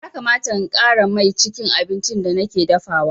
Ya kamata in ƙara mai cikin abincin da nake dafawa.